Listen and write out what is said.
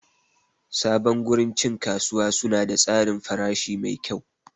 Sabon gurin cin kasuwa suna da tsarin farashi mai kyau.